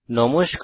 নমস্কার